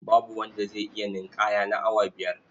Babu wanda zai iya ninƙaya na awa biyar.